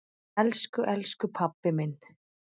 Elsku elsku pabbi minn.